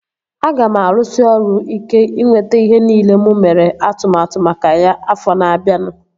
Aga m arụsị ọrụ ike ịnweta ihe nile mụ mere atụmatụ maka ya afọ na-abianu